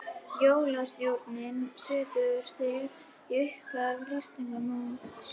Jólasnjórinn setur strik í upphaf Íslandsmótsins